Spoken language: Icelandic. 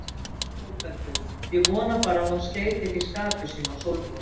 ÞÓRBERGUR: Ég vona bara að hún skeyti ekki skapi sínu á Sólrúnu.